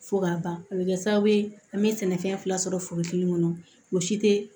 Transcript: Fo ka ban a bɛ kɛ sababu ye an bɛ sɛnɛfɛn fila sɔrɔ forotigi kɔnɔ mɔgɔ si tɛ